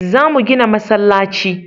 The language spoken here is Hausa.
Za mu gina masallaci